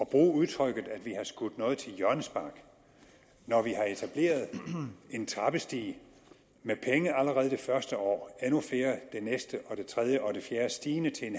bruge udtrykket at vi har skudt noget til hjørnespark når vi har etableret en trappestige med penge allerede det første år endnu flere det næste det tredje og det fjerde stigende til en